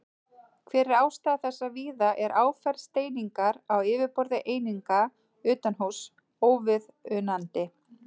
Hver er ástæða þess að víða er áferð steiningar á yfirborði eininga utanhúss óviðunandi?